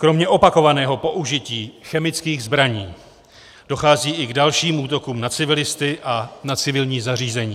Kromě opakovaného použití chemických zbraní dochází i k dalším útokům na civilisty a na civilní zařízení.